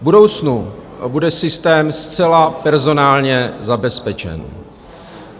V budoucnu nebude systém zcela personálně zabezpečen.